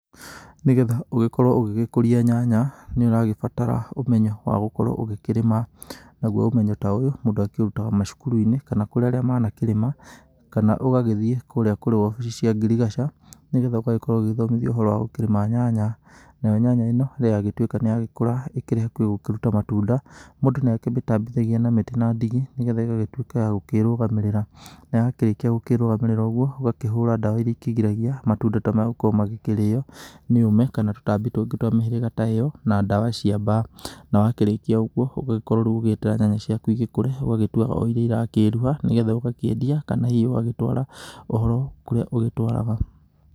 Nĩ getha ũgĩgĩkorwo ũgĩkũria nyanya nĩ ũrabatara ũmenyo wa gũkorwo ũgĩkĩrĩma. Naguo ũmenyo ta ũyũ mũndũ akĩũrutaga macukuru-inĩ kana kũrĩ arĩa manakĩrĩma. Kana ũgagĩthiĩ kũrĩa kũrĩ obici cia ngirigaca nĩ getha ũgagĩkorwo ũgĩgĩthomithio ũhoro wa kũrĩma nyanya. Nayo nyanya ĩno rĩrĩa yagĩtuĩka nĩ yagĩkũra ikĩrĩ hakuhĩ gũkĩruta matunda, mũndũ nĩ akĩmĩtambithagia na mĩtĩ na ndigi nĩ getha ĩgagĩtuĩka ya gũkĩrũgamĩrĩra. Na yakĩrĩkia gũkĩrũgamĩrĩra ũguo ũgakĩhũra ndawa iria ikĩgiragia matunda ta maya gũkorwo magĩkĩrĩyo nĩ ũme kana tũtambi tũngĩ twa mĩhĩrĩga ta ĩyo na ndawa cia mbaa. Na wakĩrĩkia ũguo ũgũgĩkorwo rĩu ũgĩeterera nyanya ciaku igĩkũre ũgagĩtua iria irakĩruha nĩ getha ũgakĩendia kana hihi ũgagĩtwara thogoro kũrĩa ũgĩtwaraga.